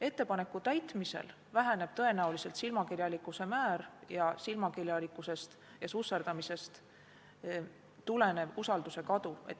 Ettepaneku täitmise korral väheneb tõenäoliselt silmakirjalikkuse määr ning silmakirjalikkusest ja susserdamisest tulenev usalduse kadu.